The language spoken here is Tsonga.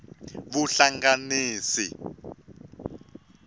vuhlanganisi